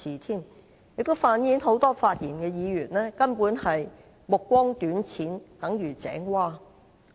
這反映出多位發言的議員根本目光短淺如井蛙。